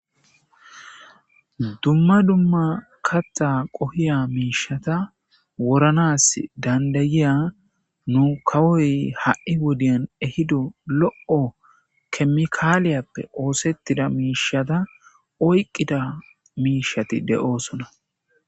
Dumma dumma katta qohiya miishata woranas dandayiya nu kawoy ha'i wodiyan ehido lo'o kemikaaliyappe oosettida miishata oyqqida miishati de'oosona.